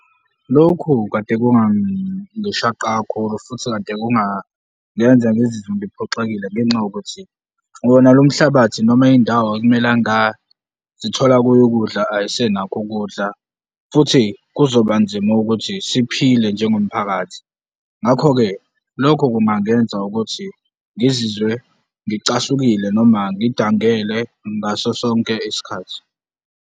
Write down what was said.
Lokhu kade kungangishaqa kakhulu futhi kade kungangenza ngizizwe ngiphoxekile ngenxa yokuthi wona lo mhlabathi noma indawo ekumele nga zithola kuyo ukudla ayisenakho ukudla futhi kuzoba nzima ukuthi siphile njengomphakathi. Ngakho-ke, lokho kungangenza ukuthi ngizizwe ngicasukile noma ngidangele ngaso sonke isikhathi.